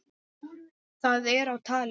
Það er á tali.